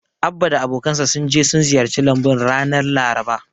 Abba da abokansa sun je sun ziyarci lambun ranar Laraba.